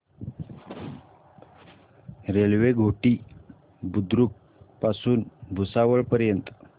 railway Ghoti Budruk पासून भुसावळ पर्यंत